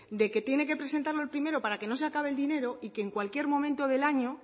de que tiene que presentarlo el primero para que no se acabe el dinero y que en cualquier momento del año